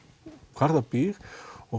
hvar það býr og